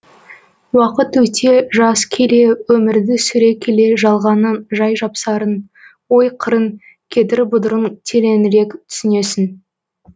уақыт өте жас келе өмірді сүре келе жалғанның жай жапсарын ой қырын кедір бұдырын тереңірек түсінесің